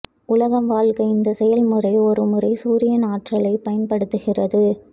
உலகம் வாழ்க்கை இந்த செயல்முறை ஒருமுறை சூரியன் ஆற்றலை பயன்படுத்துகிறது